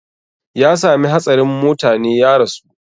Ya sami hatsarin motane ya rasu